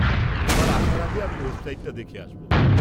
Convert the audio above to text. পরের বার আসার আগে আমি ওয়েবসাইটটা দেখে আসব।